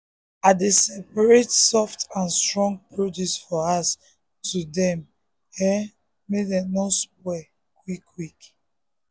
i dey separate soft and strong produce for house to dem no go spoil spoil quick.